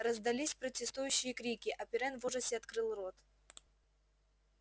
раздались протестующие крики а пиренн в ужасе открыл рот